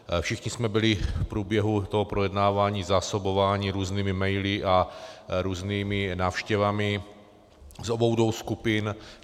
Všichni jsme byli v průběhu toho projednávání zásobováni různými maily a různými návštěvami z obou dvou skupin.